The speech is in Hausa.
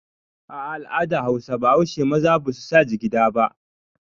Ah ah, al'adan Hausa baushe maza basu sa jigida ba